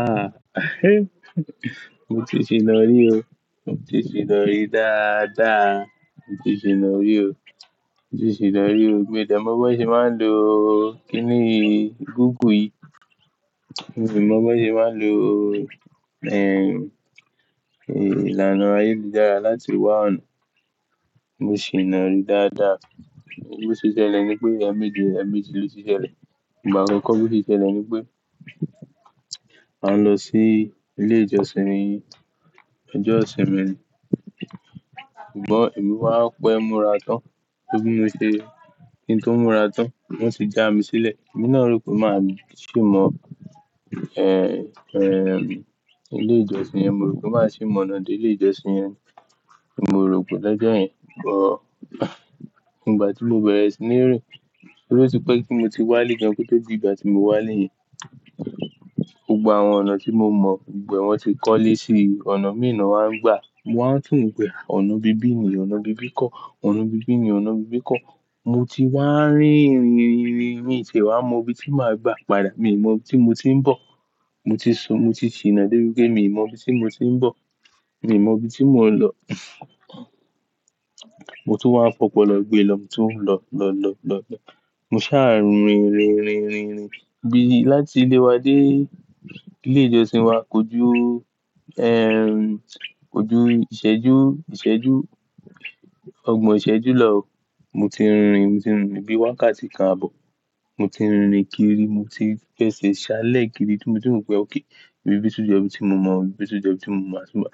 Ah, mo ti ṣì ń lọ rí o. Mo ti ṣì ń lọ rí dáadáa. Mo ti ṣì ń lọ rí o. Mo ti ṣìna rí o. Mii de mọ bón ṣe máa ń lo, kí ni, Google yi. Miì mọ bón ṣe máa ń lo, ìlànà ayélujára láti wá ọ̀nà. Mo ṣìna rí dáadáa. Bo se ṣẹlẹ̀ ni pé ẹ̀emeji ẹ̀emeji ló ti ṣẹlẹ̀. Ìgbà àkọ́kọ́ bó ṣe ṣẹlẹ̀ ni pé, mo ń lọ sí ilé ìjọsìn mi. Ọjọ́ ìṣinmí ni. Ṣùgbọ́n èmi wa pẹ́ múra tán. Bí mo ṣe, ki n tó ń múra tán, wọ́n sì já mi sílẹ̀. Ẹ̀mí náà rò pé máa sì mọ ilé ìjọsìn yẹn. Mo rò pé máa sì mọ̀nà dé ilé ìjọsìn yẹn ni. Mo rò pẹ̀ lọ́jọ́ yẹn. But, ìgbà tí mo bẹ̀rẹ̀ sí ní rìn, torí ó ti pẹ́ tí mo ti wálé gan. Ko to dìgbà tí mo wá lé yẹn. Gbogbo àwọn ọ̀nà tí mo mọ̀, gbogbo e wọn ti kọ́lé síi ọ̀nà mii na wá ń gbà. Mo wá n think pe, "Ọ̀nà ibí bí ni, ọ̀nà ibí bí kọ́. Ọ̀nà ibí bí ni, ọ̀nà ibí bí kọ́." Mo ti wá rìn, rìn, rìn, rìn, rìn. Mii tie wá mọ ibi tí màá gba padà. Mii mọ ibi tí mo ti ń bọ̀. Mo ti sun, mo ti ṣìná dé bí pé mii mọ ibi tí mo ti ń bọ̀. Èmi mọ ibi tí mò ń lọ. Mo tún wá ń fọpọ̀lọ gbé lọ, mo tún ń lọ, lọ, lọ, lọ, lọ. Mo ṣáà rìn, rìn, rìn, rìn, rìn. Bíi láti ilé wa dé ilé ìjọsìn wa, kojú, kojú ìṣẹ́jú, ìṣẹ́jú, ọgbọ̀n ìṣẹ́jú lọ o. Mo ti rìn, mo ti rìn irin bíi wákàtí kan àbọ̀. Mo ti rìn kiri. Mo ti fẹ́se ṣá lẹ́ kiri. Ti mo tun wo pé okay. Ìbí bi tun jo ibi tí mo mọ̀ o, ìbí bi tun jo ibi tí mo mo.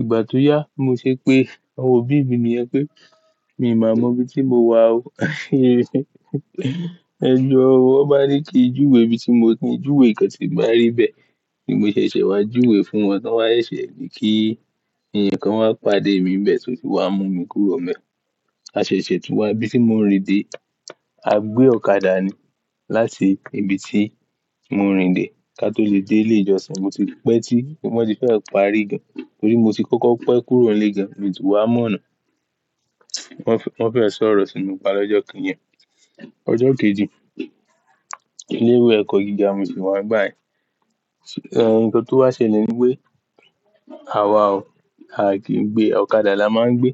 Ìgbà tó yá, bi mo ṣe pé àwọn òbí mi niyẹn pé, mii máa mọ ibi tí mo wà ó. Ẹ jọo o, wọ́n bá ní kí n júwe ibi tí mo ki ń júwe nnkán tí bá rí n bẹ̀. Ni mo ṣẹ̀ṣẹ̀ wá júwe fún wọn, ton wa seṣẹ̀ ní kí eeyan kan wá pàdé mi nbẹ́ tó fi wá mú mi kúrò nbe a ṣẹ̀ṣẹ̀ tún wá ibí tí mò ń rìn dé, a gbé ọ̀kadà ni. Láti ibi tí mò rìn dé ká tó lè dé ilé ìjọsìn. Mo ti pé tí, wọ́n ti fẹ́ parí gan. Torí mo ti kọ́kọ́ pẹ́ kúrò nílé gan. Mii tun wá mọ̀nà. Wọ́n fẹ́e sọ̀rọ̀ sí mi pa lọ́jọ́ kan yen. Ọjọ́ kejì, ilé ìwé ẹ̀kọ́ gíga n mo sì wà ngba yẹn. Nǹkan tó wá ṣele ni pé àwa ò, a kì í gbé ọ̀kadà la máa ń gbé.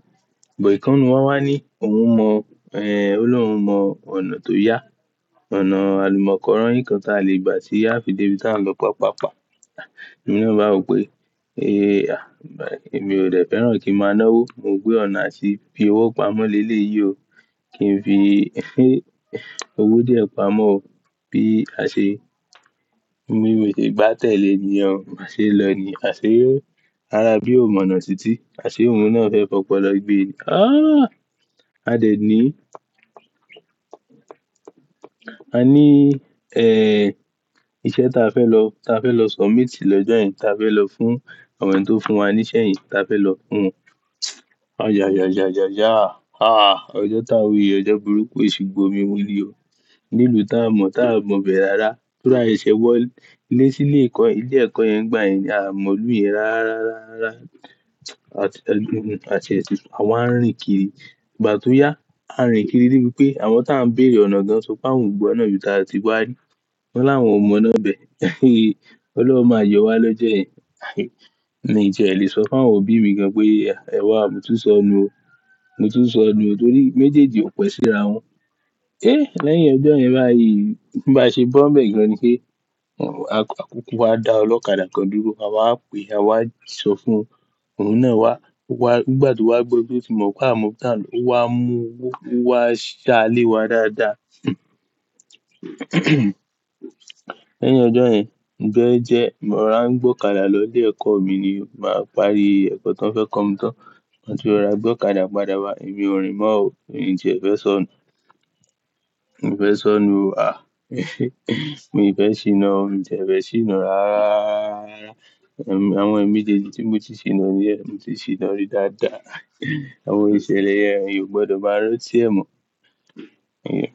But ìkan n nù wa wá ní òun mọ, o ni oun mọ ọ̀nà tó yá. Ọ̀nà àlùmọ́kọ́royi kan taa lè gbà ti aa fi dé ibi ta ń lọ paa paa paa. Èmi náà báa wo pé, "pe ah, èmi ò dẹ̀ fẹ́ràn kí n máa náwó. Mo woo pe ọ̀nà àti fi owó pamọ́ leleyìí o. Kí n fi, owó díẹ̀ pamọ́ bí a ṣe, bí mo ṣe gbátẹ́lẹ̀ nìyen o báa ṣe n lọ ni. A ṣe e. Ara bí ò mọ̀nà títí. A ṣe òun náà fẹ́ fọpọ̀lọ gbé ni. Ah! A dẹ̀ ní, a ní, iṣẹ́ tí a fẹ́ lọ, tí a fẹ́ lọ submit lọ́jọ́ yẹn. Tí a fẹ́ lọ fún àwọn ẹni tó fún wa ní iṣẹ́ yẹn. Tí a fẹ́ lọ fún. A yà, yà, yà, yà, yaà. Ah, ọjọ́ tá n wi yìí ojọ́ burúkú, esu gbo mimú ni o. Nílùú taa mọ̀, taa mọ̀ bẹ̀ rára. Torí à seṣẹ́ wọ́ lé sí ilé ẹ̀kọ́, ilé ẹ̀kọ́ yẹn ngbà yẹn ni. Aa mọ̀lùú yẹn rára, rára, rára. Àti ẹlẹ́nu, àti èṣù. Àwa ń rìn kiri. Ìgbà tó yá, a rìn kiri dé pé àwọn tí à ń bèrè ọ̀nà gan sọ pé àwọn ò mọ ọ̀nà yìí tí a ti wá rí. Wọ́n láwọn ò mọ ọ̀nà bẹ̀. Òlọ̀run máa yọ wá lọ́jọ́ yẹn. Ǹ mí ó tìẹ́ ẹ lè sọ fún àwọn òbí mi gan pé, "Ẹwà, mo tún sọ nu o. Mo tún sọ nu o." Torí méjèèjì ò pẹ́ síra wọn. Eh, lẹ́yìn ọjọ́ yẹn báyìí, bí a ṣe bọ́ ń bẹ́ẹ̀ gan ni kí, àkókò wa dá ọlọ́kadà kan dúró. Àwa pè, àwa sọ fún òun náà wá. Wá, nígbà tí wá gbọ́ pé fi mọ̀ pé àmo tí à ń lọ. Ó wá mú wá, wá ṣá a lé wa dáadáa. Lẹ́yìn ọjọ́ yẹn, ń jẹ́ ẹ́ jẹ́, mo rà ń gbọ́kadà lọ ilé ẹ̀kọ́ mi ni. Màá parí ẹ̀kọ́ tí wọ́n fẹ́ kọ́ mi tán. Torí mo rà gbọ́kadà padà wá. Èmi ò rìn mọ́ o. Ǹjé ẹ fẹ́ sọ nu. Mo fẹ́ sọ nu o. Ah, mo fẹ́ ṣìná o. Ǹjé ẹ fẹ́ ṣìná rára. Àwọn ẹ̀mí méjèèjì tí mo ti ṣìná rí ẹ, mo ti ṣìná rí dáadáa. Àwọn ìṣẹ̀lẹ̀ yẹn, ẹ̀yàn o gbọdọ̀ máa rántí ẹ̀ mọ́. Okay.